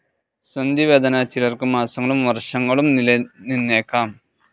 സന്ധിവേദന ചിലർക്ക് മാസങ്ങളും വർഷങ്ങളും നിലനിന്നേക്കാം.